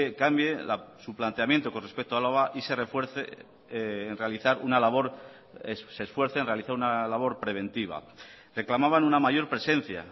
cambie su planteamiento con respecto a álava y se esfuerce en realizar una labor preventiva reclamaban una mayor presencia